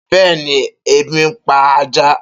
Beeni ebi npa ajá.